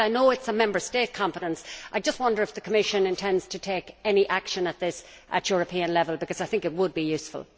While I know this is a Member State competence, I just wonder if the Commission intends to take any action on this at European level, because I think that would be useful.